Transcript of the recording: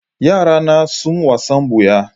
Yarana na son wasan buya.